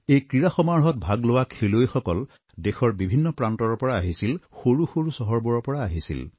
এই ক্ৰীড়া সমাৰোহত ভাগ লোৱা খেলুৱৈসকল দেশৰ বিভিন্ন প্ৰান্তৰৰ পৰা আহিছিল সৰু সৰু চহৰবোৰৰ পৰা আহিছিল